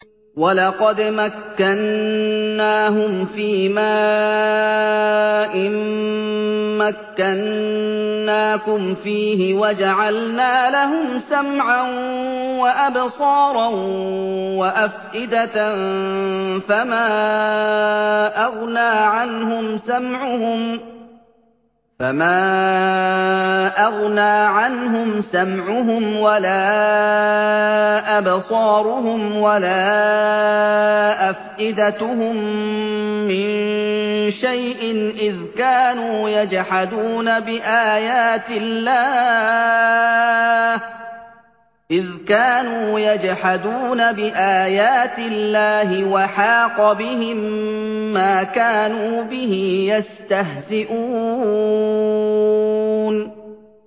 وَلَقَدْ مَكَّنَّاهُمْ فِيمَا إِن مَّكَّنَّاكُمْ فِيهِ وَجَعَلْنَا لَهُمْ سَمْعًا وَأَبْصَارًا وَأَفْئِدَةً فَمَا أَغْنَىٰ عَنْهُمْ سَمْعُهُمْ وَلَا أَبْصَارُهُمْ وَلَا أَفْئِدَتُهُم مِّن شَيْءٍ إِذْ كَانُوا يَجْحَدُونَ بِآيَاتِ اللَّهِ وَحَاقَ بِهِم مَّا كَانُوا بِهِ يَسْتَهْزِئُونَ